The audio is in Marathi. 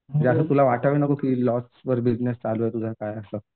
ते आता तूला वाटायला नको की लॉस वर बिजनेस चालू आहे. तुझं काय असं.